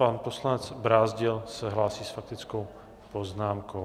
Pan poslanec Brázdil se hlásí s faktickou poznámkou.